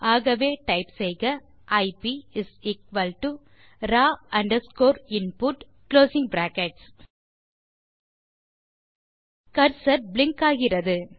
ஆகவே டைப் செய்க ஐப் raw underscore input cursor blink செய்கிறது